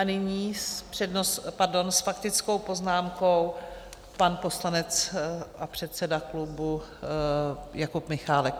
A nyní s faktickou poznámkou pan poslanec a předseda klubu Jakub Michálek.